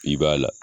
I b'a la